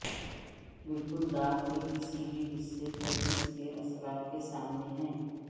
بالکل دانت کے کسی بھی حصے پر اس کے اثرات کے سامنے ہے